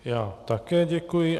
Já také děkuji.